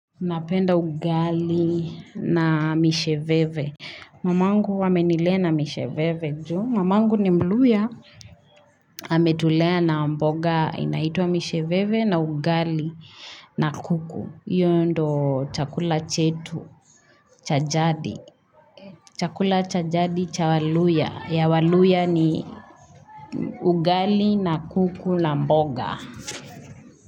Napenda ugali na misheveve Mamangu amenilea na misheveve juu mamangu ni mluhya ametulea na mboga inaitwa misheveve na ugali na kuku Iyo ndo chakula chetu cha jadi chakula cha jadi cha waluhya ya waluhya ni ugali na kuku na mboga.